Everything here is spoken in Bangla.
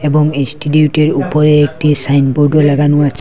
এবং ইনস্টিটিউটের উপরে একটি সাইনবোর্ডও লাগানো আছ--